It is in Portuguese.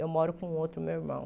Eu moro com outro meu irmão.